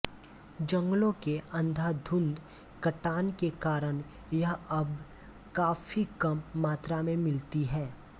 जंगलों के अंधाधुंध कटान के कारण यह अब काफी कम मात्रा में मिलती है